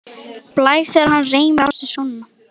Blæs þegar hann reimar á sig skóna.